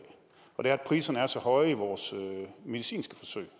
og det er at priserne er så høje i vores medicinske forsøg